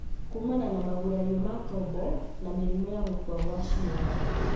kumana na magurario ma tombo na mĩrimũ ta gũkua kwa cĩiga.